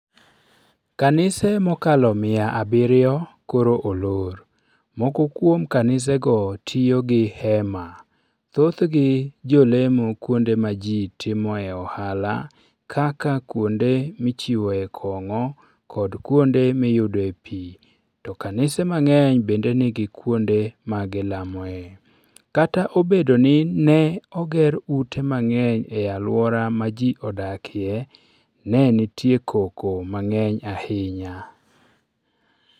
Kanise mokalo mia abirio koro olor moko kuom kanisego tiyo gi hema. Thothgi jolemo kuonde ma ji timoe ohala kaka kuonde michiwoe kong'o kod kuonde miyudoe pi; to kanise mang'eny bende nigi kuonde ma gilamoe. Kata obedo ni ne oger ute mang'eny e alwora ma ji odakie, ne nitie koko mang'eny ahinya.